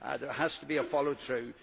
there has to be a follow through.